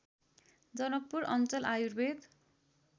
जनकपुर अञ्चल आयुर्वेद